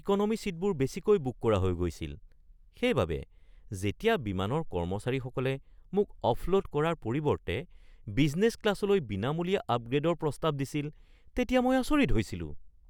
Economy ছিটবোৰ বেছিকৈ book কৰা হৈ গৈছিল, সেইবাবে যেতিয়া বিমানৰ কৰ্মচাৰীসকলে মোক অফলোড কৰাৰ পৰিৱৰ্তে বিজনেছ ক্লাছলৈ বিনামূলীয়া আপগ্ৰে’ডৰ প্ৰস্তাৱ দিছিল তেতিয়া মই আচৰিত হৈছিলোঁ।